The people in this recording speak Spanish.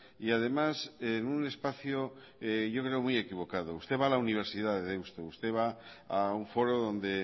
y además en un espacio yo creo muy equivocado usted va a la universidad de deusto usted va a un foro donde